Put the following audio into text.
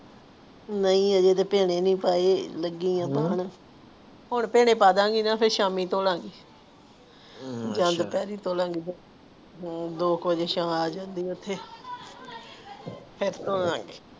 ਨਹੀਂ ਹਜੇ ਤੇ ਭਿਨੇ ਨਹੀਂ ਭਾਈ ਲਗੀ ਆ ਧੋਣ ਕਉ ਹੁਣ ਭਿਨੇ ਪੈ ਜਾਣਗੇ ਨ ਫੇਰ ਸ਼ਾਮੀ ਧੌਲਾਂਗੀ ਦੋ ਵਜੇ ਸ਼ਾ ਅਜਾਂਦੀ ਆ ਏਥੇ ਫਿਰ ਧੌਲਾਂਗੀ